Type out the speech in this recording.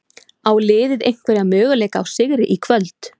Á liðið einhverja möguleika á sigri í kvöld?